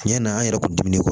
Tiɲɛ na an yɛrɛ kun diminen don